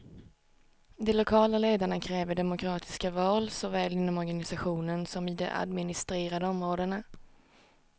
De lokala ledarna kräver demokratiska val såväl inom organisationen som i de administrerade områdena.